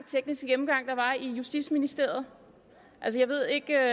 tekniske gennemgang der var i justitsministeriet jeg ved ikke